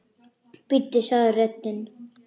Bíddu sagði röddin.